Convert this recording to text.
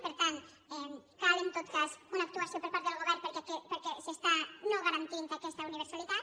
per tant cal en tot cas una actuació per part del govern perquè s’està no garantint aquesta universalitat